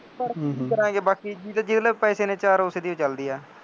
ਪੜ੍ਹ ਲਿਖ ਕੇ ਕੀ ਕਰਾਂਗੇ ਬਾਕੀ, ਜਿਹਦੇ ਕੋਲ ਪੈਸੇ ਨੇ ਚਾਰ ਉਸੇ ਦੀ ਹੋਈ ਚੱਲਦੀ ਆ